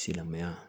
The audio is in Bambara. Silamɛya